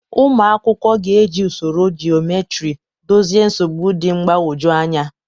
Ụmụ akwụkwọ ga-eji usoro geometry dozie nsogbu dị mgbagwoju anya.